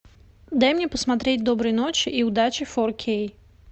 дай мне посмотреть доброй ночи и удачи фор кей